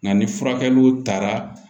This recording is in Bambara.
Nka ni furakɛliw taara